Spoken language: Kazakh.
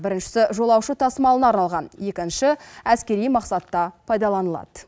шісі жолаушы тасымалына арналған ші әскери мақсатта пайдаланылады